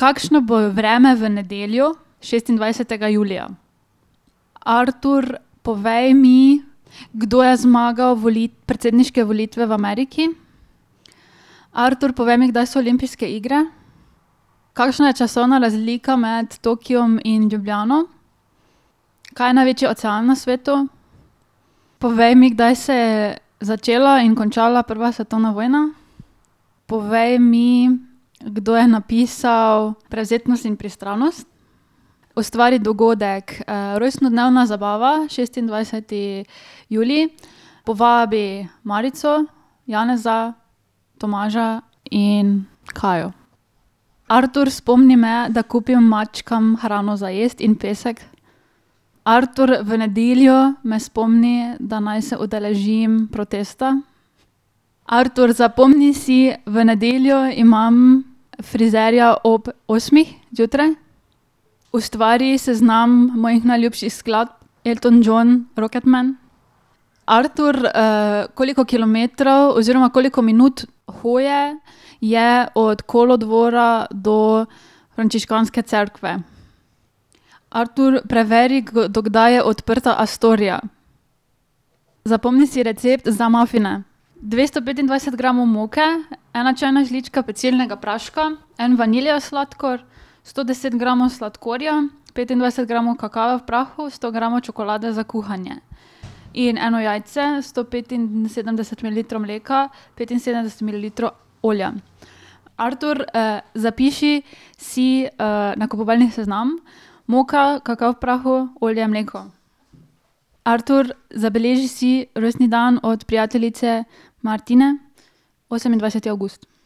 kakšno bo vreme v nedeljo, šestindvajsetega julija? Artur, povej mi, kdo je zmagal predsedniške volitve v Ameriki. Artur, povej mi, kdaj so olimpijske igre. Kakšna je časovna razlika med Tokiem in Ljubljano? Kaj je največji ocean na svetu? Povej mi, kdaj se je začela in končala prva svetovna vojna. Povej mi, kdo je napisal Prevzetnost in pristranost. Ustvari dogodek, rojstnodnevna zabava šestindvajseti julij. Povabi Marico, Janeza, Tomaža in Kajo. Artur, spomni me, da kupim mačkam hrano za jesti in pesek. Artur, v nedeljo me spomni, da naj se udeležim protesta. Artur, zapomni si, v nedeljo imam frizerja ob osmih zjutraj. Ustvari seznam mojih najljubših skladb Elton John Rocket Man. Artur, koliko kilometrov oziroma koliko minut hoje je od kolodvora do frančiškanske cerkve? Artur, preveri, do kdaj je odprta Astoria. Zapomni si recept za mafine. Dvesto petindvajset gramov moke, ena čajna žlička pecilnega praška, en vanilijev sladkor, sto deset gramov sladkorja, petindvajset gramov kakava v prahu, sto gramov čokolade za kuhanje. In eno jajce, sto petinsedemdeset mililitrov mleka, petinsedemdeset mililitrov olja. Artur, zapiši si, nakupovalni seznam. Moka, kakav v prahu, olje, mleko. Artur, zabeleži si rojstni dan od prijateljice Martine. Osemindvajseti avgust.